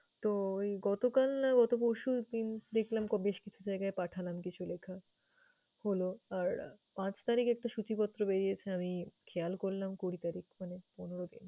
তো ওই গতকাল না গতপরশু দিন দেখলাম বেশকিছু জায়গায় পাঠালাম কিছু লেখা হলো। আর আহ পাঁচ তারিখ একটা সূচিপত্র বেরিয়েছে। আমি খেয়াল করলাম কবিতাটি মানে অনুরাগের।